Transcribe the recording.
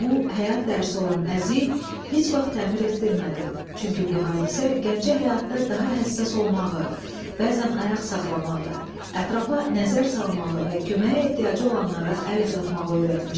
Bu, həyat dərsi olan əziyi heç vaxt təmir etdirmədi, çünki bu hadisə gəncə həyatda daha həssas olmağı, bəzən ayaq saxlamağı, ətrafa nəzər salmağı və köməyə ehtiyacı olanlara əl uzatmağı öyrətmişdi.